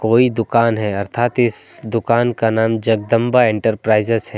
कोई दुकान है अर्थात इस दुकान का नाम जगदंबा इंटरप्राइजेज है।